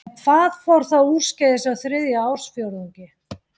En hvað fór þá úrskeiðis á þriðja ársfjórðungi?